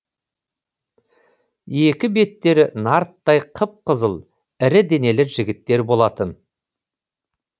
екі беттері нарттай қып қызыл ірі денелі жігіттер болатын